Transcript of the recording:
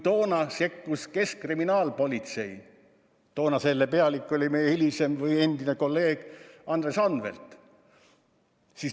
Toona sekkus keskkriminaalpolitsei, kelle pealik oli meie hilisem kolleeg Andres Anvelt.